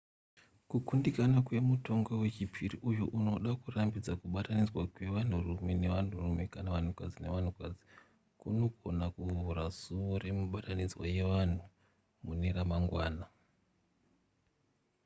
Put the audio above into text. kukundikana kwemutongo wechipiri uyo unoda kurambidza kubatanidzwa kwevanhurume nevanhurume kana vanhukadzi nevanhukadzi kunogona kuvhura suwo remibatanidzwa yevanhu mune ramangwana